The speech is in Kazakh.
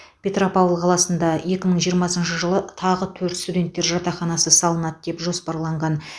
петропавл қаласында екі мың жиырмасыншы жылы тағы төрт студенттер жатақханасы салынады деп жоспарланған